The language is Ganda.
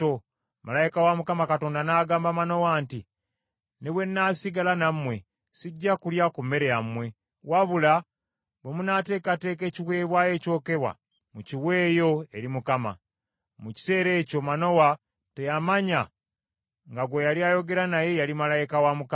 Malayika wa Mukama Katonda n’agamba Manowa nti, “Ne bwe nnaasigala nammwe, sijja kulya ku mmere yammwe. Wabula bwe munaateekateeka ekiweebwayo ekyokebwa, mukiweeyo eri Mukama .” Mu kiseera ekyo Manowa teyamanya nga gwe yali ayogera naye yali malayika wa Mukama .